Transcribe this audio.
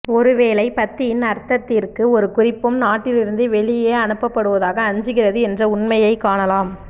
ஒருவேளை பத்தியின் அர்த்தத்திற்கு ஒரு குறிப்பும் நாட்டிலிருந்து வெளியே அனுப்பப்படுவதாக அஞ்சுகிறது என்ற உண்மையைக் காணலாம்